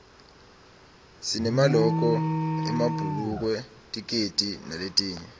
sinemaloko emabhulukwe tikedi naletinye